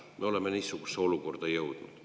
Me oleme niisugusesse olukorda jõudnud.